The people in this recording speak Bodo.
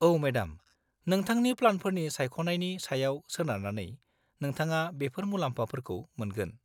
-औ मेडाम, नोंथांनि प्लानफोरनि सायख'नायनि सायाव सोनारनानै, नोंथाङा बेफोर मुलाम्फाफोरखौ मोनगोन।